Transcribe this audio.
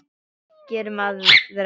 Gerum aðra.